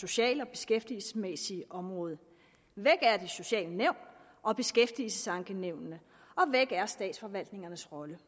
sociale og beskæftigelsesmæssige område væk er de sociale nævn og beskæftigelsesankenævnene og væk er statsforvaltningernes rolle